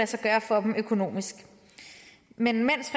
sig gøre for dem økonomisk men mens